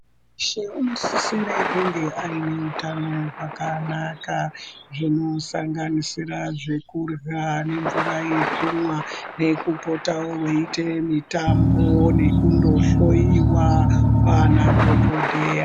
Muntu weshe unosisire kunge aine hutano hwakanaka, zvinosanganisira zvekurya, nemvura yekumwa, nekupota weiite mitambo, nekundohloiwa, kwaanadhokodheya.